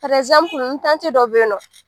n dɔ be yen nɔ